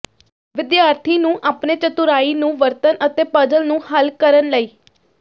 ਵਿਦਿਆਰਥੀ ਨੂੰ ਆਪਣੇ ਚਤੁਰਾਈ ਨੂੰ ਵਰਤਣ ਅਤੇ ਪਜ਼ਲ ਨੂੰ ਹੱਲ ਕਰਨ ਲਈ